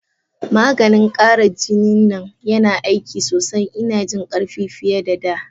Maganin kara jinin nan yana aiki sosai, ina jin karfi fiye da' da.